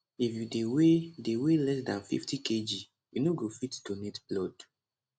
if you dey weigh dey weigh less dan 50kg you no go fit donate blood